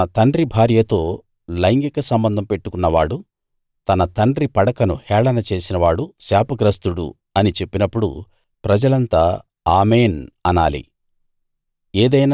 తన తండ్రి భార్యతో లైంగిక సంబంధం పెట్టుకున్నవాడు తన తండ్రి పడకను హేళన చేసినవాడు శాపగ్రస్తుడు అని చెప్పినప్పుడు ప్రజలంతా ఆమేన్‌ అనాలి